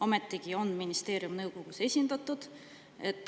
Ometigi on ministeerium nõukogus esindatud.